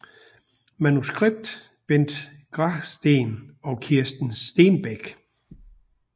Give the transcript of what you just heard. Manuskript Bent Grasten og Kirsten Stenbæk